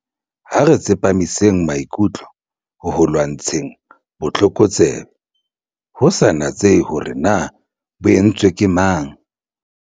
Ha re tsepamiseng maikutlo ho ho lwantsha botlokotsebe, ho sa natsehe hore na bo etswa ke mang.